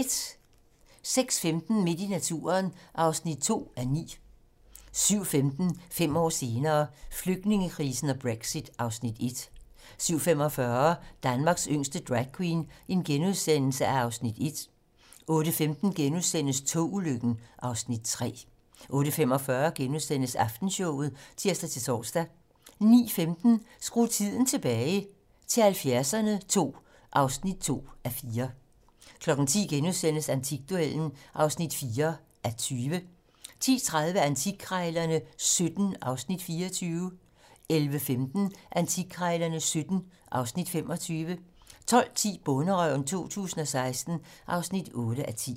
06:15: Midt i naturen (2:9) 07:15: 5 år senere - Flygtningekrisen og Brexit (Afs. 1) 07:45: Danmarks yngste dragqueen (Afs. 1)* 08:15: Togulykken (Afs. 3)* 08:45: Aftenshowet *(tir-tor) 09:15: Skru tiden tilbage - til 70'erne II (2:4) 10:00: Antikduellen (4:20)* 10:30: Antikkrejlerne XVII (Afs. 24) 11:15: Antikkrejlerne XVII (Afs. 25) 12:10: Bonderøven 2016 (8:10)